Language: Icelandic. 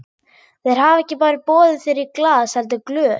Þeir hafa ekki bara boðið þér í glas heldur glös.